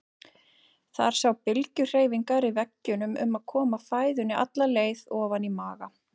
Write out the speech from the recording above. Þar sjá bylgjuhreyfingar í veggjunum um að koma fæðunni alla leið ofan í maga.